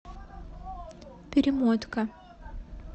перемотка